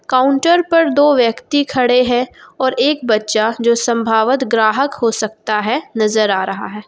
Counter पर दो व्यक्ति खड़े हैं और एक बच्चा जो संभावत ग्राहक हो सकता है नजर आ रहा है।